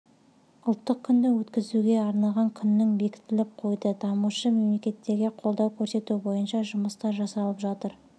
ұлттық күнді өткізуге арналған күннің бекітіліп қойды дамушы мемлекеттерге қолдау көрсету бойынша жұмыстар жасалып жатыр